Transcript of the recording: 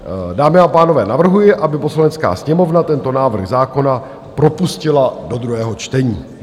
Dámy a pánové, navrhuji, aby Poslanecká sněmovna tento návrh zákona propustila do druhého čtení.